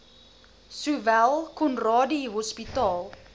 sowel conradie hospitaal